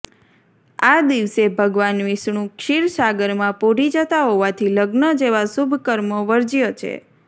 આ દિવસે ભગવાન વિષ્ણુ ક્ષીરસાગરમાં પોઢી જતાં હોવાથી લગ્ન જેવા શુભ કર્મો વર્જ્ય છે